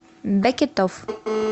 бекетовъ